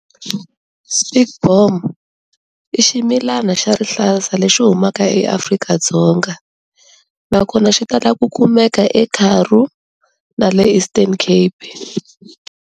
Spekboom i ximilana xa rihlaza lexi humaka eAfrika-Dzonga, nakona xi ta lava ku kumeka eKaroo na le Eastern Cape.